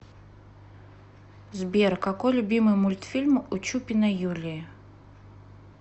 сбер какой любимый мультфильм у чупиной юлии